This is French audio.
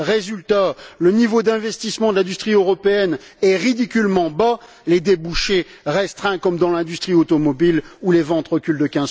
Résultat le niveau d'investissement de l'industrie européenne est ridiculement bas et les débouchés sont restreints, comme dans l'industrie automobile, où les ventes reculent de